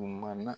Maana